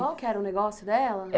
Qual é que era o negócio dela?